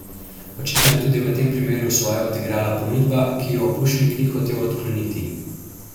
Očitno je tudi v tem primeru svoje odigrala ponudba, ki jo Pušnik ni hotel odkloniti.